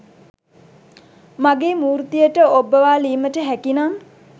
මගේ මූර්තියට ඔබ්බවාලීමට හැකිනම්